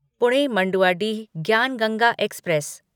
Pune Manduadih Gyan Ganga express